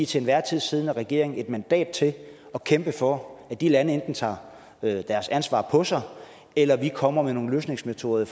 til enhver tid siddende regering et mandat til at kæmpe for at de lande enten tager deres ansvar på sig eller at vi kommer med nogle løsningsmetoder i